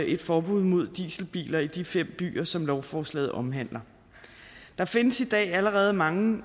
et forbud mod dieselbiler i de fem byer som lovforslaget omhandler der findes i dag allerede mange